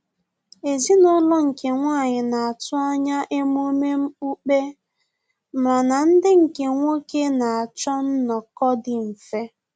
Ezinaulo nke nwanyi na-atụ anya emume okpukpe mana ndị nke nwoke na-achọ nnọ́kọ dị mfe